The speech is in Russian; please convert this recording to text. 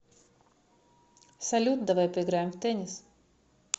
салют давай поиграем в теннис